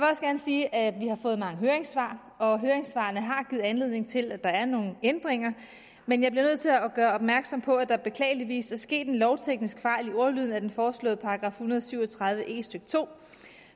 sige at vi har fået mange høringssvar og høringssvarene har givet anledning til at der er nogle ændringer men jeg bliver nødt til at gøre opmærksom på at der beklageligvis er sket en lovteknisk fejl i ordlyden af den foreslåede § en hundrede og syv og tredive e stykke to